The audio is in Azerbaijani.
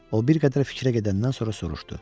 O bir qədər fikrə gedəndən sonra soruşdu.